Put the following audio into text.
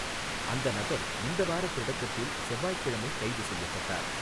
அந்த நபர் இந்த வார தொடக்கத்தில் செவ்வாய்கிழமை கைது செய்யப்பட்டார்.